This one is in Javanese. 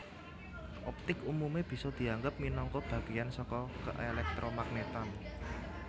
Optik umume bisa dianggep minangka bagéyan saka keelektromagnetan